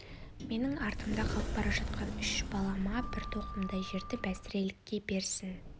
менің артымда қалып бара жатқан үш балама бір тоқымдай жерді бәсірелікке берсін